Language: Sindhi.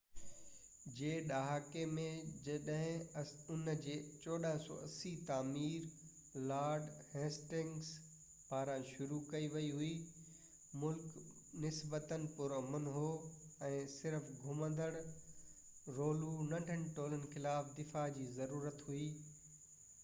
1480 جي ڏهاڪي ۾ جڏهن ان جي تعمير لارڊ هسٽنگس پاران شروع ڪئي وئي هئي مُلڪ نسبتاً پرامن هو ۽ صرف گھومندڙ رولو ننڍن ٽولن خلاف دفاع جي ضرورت هئي